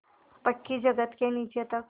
पक्की जगत के नीचे तक